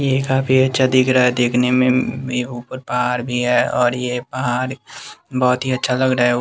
ये काफी अच्छा दिख रहा है देखने में अम्म में ऊपर पहाड़ भी है और ये पहाड़ बहुत ही अच्छा लग रहा है।